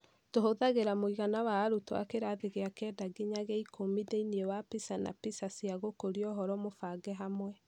Tũhũthagĩra mũigana wa arutwo a kĩrathi gĩa kenda nginya gĩa ikũmi thĩinĩ wa PISA na PISA cia gũkũria ũhoro mũbange hamwe.